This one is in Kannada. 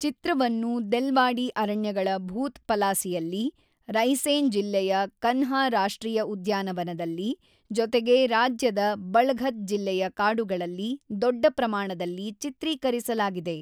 ಚಿತ್ರವನ್ನು ದೆಲ್ವಾಡಿ ಅರಣ್ಯಗಳ ಭೂತ್ ಪಲಾಸಿಯಲ್ಲಿ, ರೈಸೇನ್ ಜಿಲ್ಲೆಯ ಕನ್ಹಾ ರಾಷ್ಟ್ರೀಯ ಉದ್ಯಾನವನದಲ್ಲಿ, ಜೊತೆಗೆ ರಾಜ್ಯದ ಬಳಘತ್ ಜಿಲ್ಲೆಯ ಕಾಡುಗಳಲ್ಲಿ ದೊಡ್ಡ ಪ್ರಮಾಣದಲ್ಲಿ ಚಿತ್ರೀಕರಿಸಲಾಗಿದೆ.